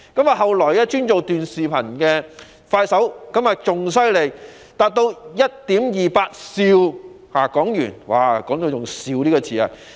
其後，專營短視頻的快手更厲害，凍資達 1.28 兆港元，用到"兆"這個單位。